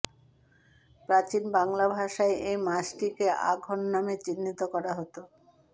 প্রাচীন বাংলা ভাষায় এই মাসটিকে আঘন নামে চিহ্নিত করা হত